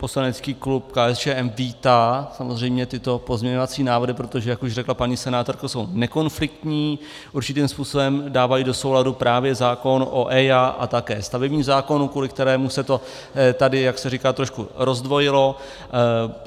Poslanecký klub KSČM vítá samozřejmě tyto pozměňovací návrhy, protože jak už řekla paní senátorka, jsou nekonfliktní, určitým způsobem dávají do souladu právě zákon o EIA a také stavební zákon, kvůli kterému se to tady, jak se říká, trošku rozdvojilo.